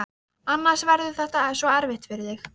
Annars verður þetta svo erfitt fyrir þig.